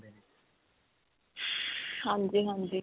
ਹਾਂਜੀ, ਹਾਂਜੀ.